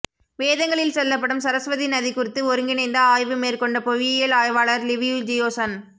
வேதங்களில் சொல்லப்படும் சரஸ்வதி நதி குறித்து ஒருங்கிணைந்த ஆய்வு மேற்கொண்ட புவியியல் ஆய்வாளர் லிவியு ஜியோசான்